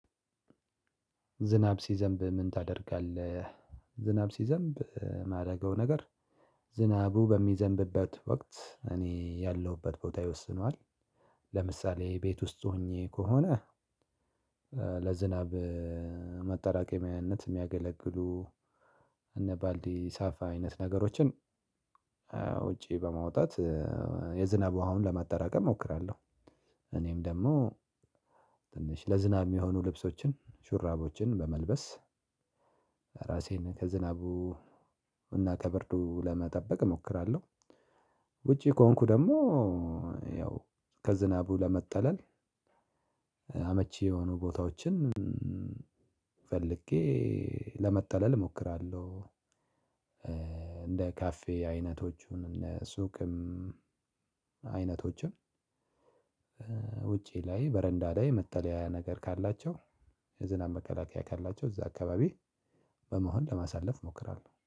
ዝናብ ሲዘንብ ምን ታደርጋለህ? ዝናብ ሲዘንብ የማደርገው ነገር ዝናቡ በሚዘንብበት ወቅት እኔ ያለሁበት ቦታ ይወስነዋል። ለምሳሌ ቤት ውስጥ ሆኜ ከሆነ። ለዝናብ መጠራቀሚያነት የሚያገለግሉ እነ ባልዲ ሳፋ አይነት ነገሮችን ውጪ በማውጣት የዝናብ ውሃውን ለማጠራቀም እሞክራለሁ። እኔም ደግሞ ትንሽ ለዝናብ የሚሆኑ ልብሶችን ሹራቦችን በመልበስ ራሴን ከዝናቡ እና ከብርዱ ለመጠበቅ እሞክራለሁ። ውጪ ከሆንኩ ደግሞ ያው ከዝናቡ ለመጠለል አመቺ የሆኑ ቦታዎችን ፈልጌ ለመጠለል እሞክራለሁ። እንደ ካፌ አይነቶቹን እነ ሱቅም አይነቶቹም ውጪ ላይ በረንዳ ላይ መጠለያ ነገር ካላቸው የዝናብ መከላከያ ካላቸው እዛ አካባቢ በመሆን ለማሳለፍ እሞክራለሁ